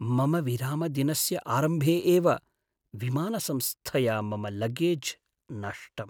मम विरामदिनस्य आरम्भे एव विमानसंस्थया मम लगेज् नष्टम्।